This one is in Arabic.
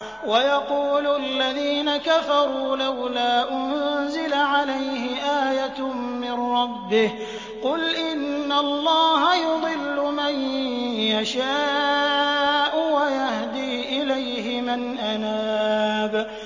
وَيَقُولُ الَّذِينَ كَفَرُوا لَوْلَا أُنزِلَ عَلَيْهِ آيَةٌ مِّن رَّبِّهِ ۗ قُلْ إِنَّ اللَّهَ يُضِلُّ مَن يَشَاءُ وَيَهْدِي إِلَيْهِ مَنْ أَنَابَ